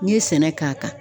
N'i ye sɛnɛ k'a kan.